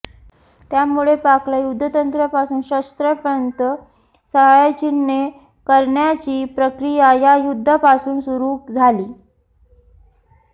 त्यामुळे पाकला युद्धतंत्रापासून शस्त्रांपर्यंत साहाय्य चीनने करण्याची प्रक्रिया या युद्धापासून सुरू झाली